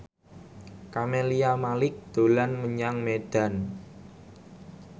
Camelia Malik dolan menyang Medan